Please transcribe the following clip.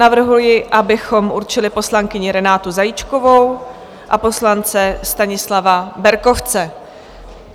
Navrhuji, abychom určili poslankyni Renátu Zajíčkovou a poslance Stanislava Berkovce.